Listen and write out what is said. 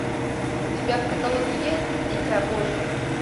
у тебя в каталоге есть дитя божье